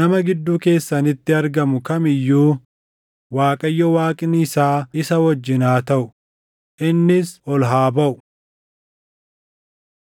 nama gidduu keessanitti argamu kam iyyuu Waaqayyo Waaqni isaa isa wajjin haa taʼu; innis ol haa baʼu.’ ”